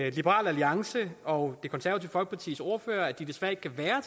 at liberal alliances og det konservative folkepartis ordførere desværre ikke kan være